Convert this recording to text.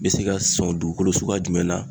N bɛ se ka sɔn dugukolo suguya jumɛn na